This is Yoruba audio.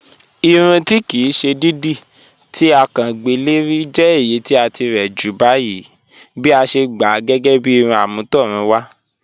Ìrùn tí kí sè dídí to à kán gbẹ́ lẹ̀rì jẹ̀ ẹ̀yì ti à tíre jù báyìí bí à sè gbá à gẹ́gẹ́ bí ìrùn am̀ọ̀tọ̀rùnwà